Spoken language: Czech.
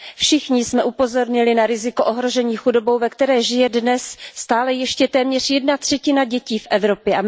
Všichni jsme upozornili na riziko ohrožení chudobou, ve které žije dnes stále ještě téměř jedna třetina dětí v Evropě.